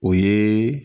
O ye